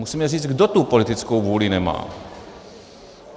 Musíme říct, kdo tu politickou vůli nemá.